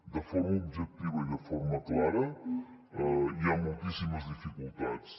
de forma objectiva i de forma clara hi ha moltíssimes dificultats